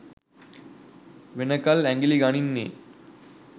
වෙනකල් ඇඟිලි ගනින්නේ.